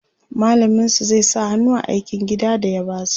mallamin su zai sa hannu a aikin gida da ya basu